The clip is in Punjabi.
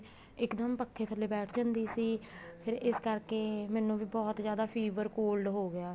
ਇੱਕ ਦਮ ਪੱਖੇ ਨੀਚੇ ਬੈਠ ਜਾਂਦੀ ਸੀ ਫ਼ੇਰ ਇਸ ਕਰਕੇ ਮੈਨੂੰ ਵੀ ਬਹੁਤ ਜਿਆਦਾ fever cold ਹੋਗਿਆ